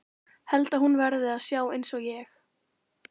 Held að hún verði að sjá einsog ég.